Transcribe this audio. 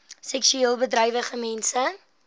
seksueel bedrywige mense